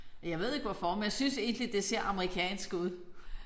Jeg ved ikke hvorfor men jeg synes egentlig det ser amerikansk ud